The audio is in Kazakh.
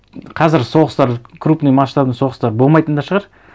қазір соғыстар крупный масштабный соғыстар болмайтын да шығар